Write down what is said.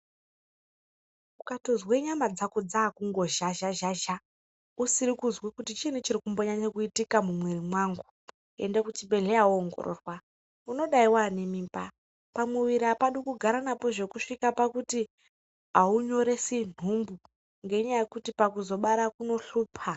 Ukatozwe nyama dzako dzakungozhazhazhazha usiri kuzwa kuti chiinyi chiri kungonyanya kuitika mumwiri mwangu ende kuchibhedhlera woongororwa unodaro wane mimba pamwiri apadi kugara napo zvekusvika pakuti aunyoresi nhumbu ngenyaya yekuti pakuzobara kunohlupa.